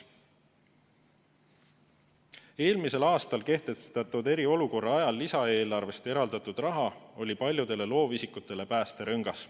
Eelmisel aastal kehtestatud eriolukorra ajal lisaeelarvest eraldatud raha oli paljudele loovisikutele päästerõngas.